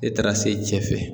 E taara se cɛ fɛ.